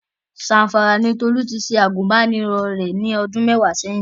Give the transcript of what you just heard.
Zamfara ni Tolú ti ṣe àgùnbánirọ̀ rẹ̀ ní ọdún mẹ́wàá ṣẹ́yìn.